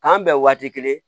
K'an bɛn waati kelen ye